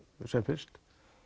sem fyrst